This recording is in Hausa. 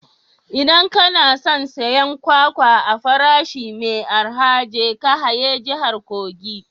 Idan kana son siyan kwakwa a farashi mai arha, je ka haye jihar kogi